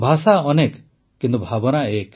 ଭାଷା ଅନେକ ଭାବନା ଏକ